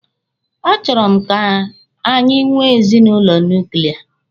A chọrọ m ka anyị nwee ezinụlọ nuklia.